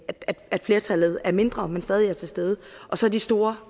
at flertallet er mindre men stadig er til stede og så de store